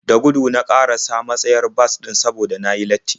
Da gudu na ƙarasa matsayar bas ɗin saboda na yi latti.